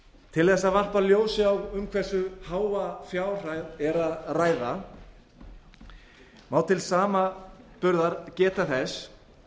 til þess að varpa ljósi á um hversu háa fjárhæð er að ræða má til samanburðar geta þess